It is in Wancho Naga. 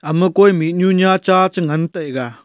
ema koi mihnu nya cha che ngan taiga.